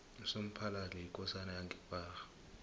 usomphalali yikosana yange kwagga